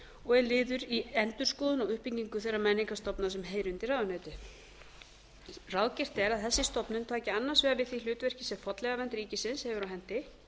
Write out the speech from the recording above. og er liður í endurskoðun á uppbyggingu þeirra menningarstofnana sem heyra undir ráðuneytið ráðgert er að þessi stofnun taki annars vegar við því hlutverki sem fornleifavernd ríkisins hefur á hendi